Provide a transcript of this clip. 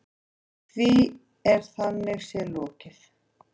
Því er þannig séð lokið.